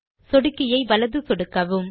சொடுக்கியை வலது சொடுக்கவும்